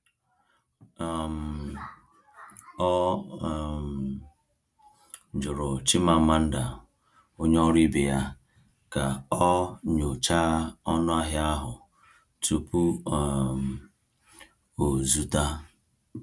um Ọ um jụrụ Chimamanda, onye ọrụ ibe ya, ka ọ nyochaa ọnụahịa ahụ tupu um o zụta.